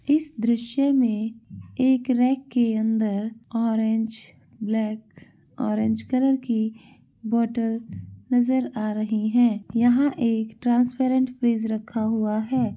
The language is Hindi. इस दृश्य मे एक रैक के अंदर ऑरेंज ब्लैक ऑरेंज कलर की बॉटल नजर आ रही है यहाँ एक ट्रांसपेरेंट फ्रीज रखा हुआ है।